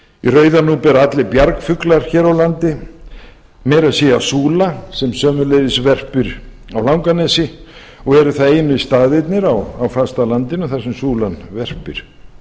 rauðanúp eru allir bjargfuglar hér á landi meira að segja súla sem sömuleiðis verpir á langanesi og eru það einu staðirnir á fastalandinu þar sem súlan verpir